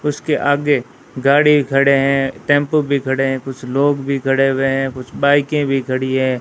उसके आगे गाड़ी खड़े हैं टेंपो भी खड़े हैं कुछ लोग भी खड़े हुए हैं कुछ बाईकें भी खड़ी है।